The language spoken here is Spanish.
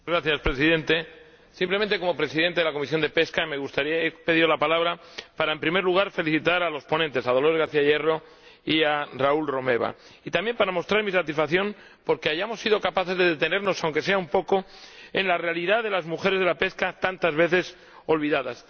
Señor Presidente, como presidente de la Comisión de Pesca he pedido la palabra para, en primer lugar, felicitar a los ponentes, Dolores García Hierro y Raül Romeva, y también para mostrar mi satisfacción porque hayamos sido capaces de detenernos —aunque sea un poco— en la realidad de las mujeres del sector pesquero, tantas veces olvidadas.